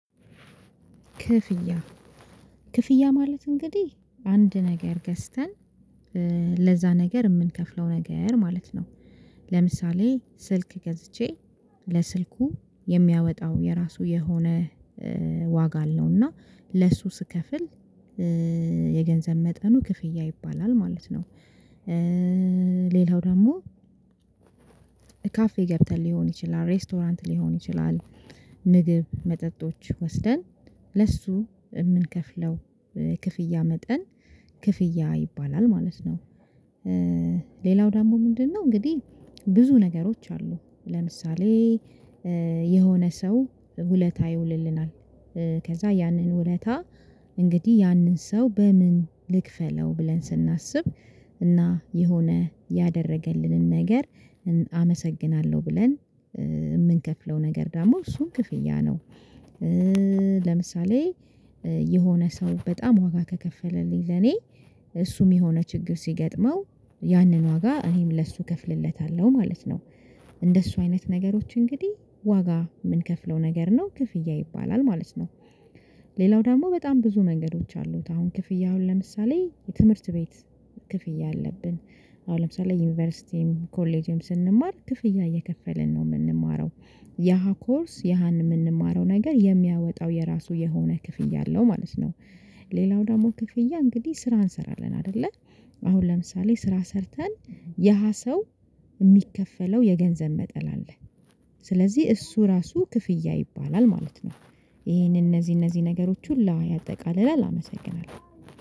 ክፍያ ክፍያ ማለት እንግዲህ አንድ ነገር ገዝተን ለዛ ነገር የምንከፍለው ነገር ማለት ነው። ለምሳሌ ስልክ ገዝቼ ለስልኩ የሚያወጣው የራሱ የሆነ ዋጋ አለው። እና ለሱ ስከፍል የገንዘብ መጠኑ ክፍያ ይባላል ማለት ነው። ሌላው ደግሞ ካፌ ገብተን ሊሆን ይችላል ሬስቶራንት ሊሆን ይችላል ምግብ መጠጦች ወስደን ለሱ የምንከፍለው ክፍያ መጠን ክፍያ ይባላል ማለት ነው። ሌላው ደግሞ ምንድነው እንግዲህ ብዙ ነገሮች አሉ። ለምሳሌ የሆነ ሰው ውለታ ይውልልናል። ከዛ ያንን ውለታ እንግዲህ ያንን ሰው በምን ልክፈለው ብለን ስናስብ እና የሆነ ያደረገልንን ነገር አመሰግናለሁ ብለን የምንከፍለው ነገር ደግሞ እሱን ክፍያ ነው። ለምሳሌ የሆነ ሰው በጣም ዋጋ ከከፈለልኝ ለኔ እሱም የሆነ ችግር ሲገጥመው ያንን ዋጋ እኔም ለሱ እከፍልለታለሁ ማለት ነው። እንደሱ አይነት ነገሮች እንግዲህ ዋጋ የምንከፍለው ነገር ነው። ክፍያ ይባላል ማለት ነው። ሌላው ደግሞ በጣም ብዙ ነገሮች አሉት። አሁን ክፍያ አሁን ለምሳሌ የትምህርት ቤት ክፍያ አለብን። አሁን ለምሳሌ ዩኒቨርሲቲም ኮሌጅም ስንማር ክፍያ እየከፈልን ነው የምንማረው። ያሃ ኮርስ ያሃን የምንማረው ነገር የሚያወጣው የራሱ የሆነ ክፍያ አለው ማለት ነው። ሌላው ደግሞ ክፍያ እንግዲህ ስራ እንሰራለን አይደለ? አሁን ለምሳሌ ስራ ሰርተን የሃ ሰው የሚከፈለው የገንዘብ መጠን አለ። ስለዚህ እሱ ራሱ ክፍያ ይባላል ማለት ነው። ይሄንን እነዚህ እነዚህ ነገሮች ሁላ ያጠቃልላል። አመሰግናለሁ።